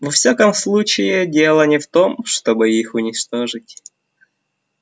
во всяком случае дело не в том чтобы их уничтожить